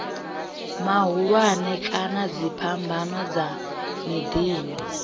mahulwane kana dziphambano dza miḓini